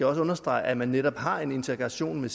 også understrege at man netop har en interaktion med